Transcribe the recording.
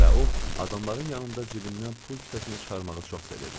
Və o, adamların yanında cibindən pul kisəsini çıxarmağı çox sevirdi.